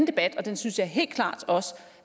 debat og den synes jeg helt klart også